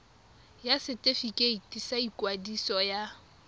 ya setefikeiti sa ikwadiso ya